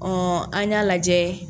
an y'a lajɛ